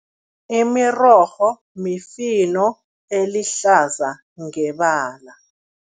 Imirorho mifino elihlaza ngebala.